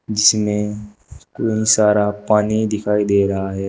जिसमें क्लीन सारा पानी दिखाई दे रहा है।